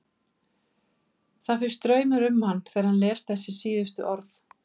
Það fer straumur um hann þegar hann les þessi síðustu orð.